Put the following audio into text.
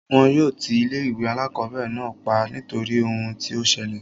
Wọn yóò ti ilé ìwé alákọ̀berẹ̀ náà pa nítorí ohun tí o ṣẹlẹ̀.